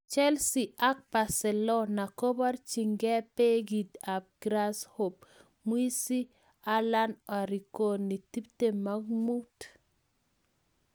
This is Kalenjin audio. Chelsea ak Barcelona koborchinke Beki ab Grasshoppe Mswizi Alan Arigoni, 25.